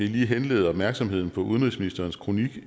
lige henlede opmærksomheden på udenrigsministerens kronik